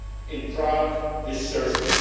in Prague this Thursday.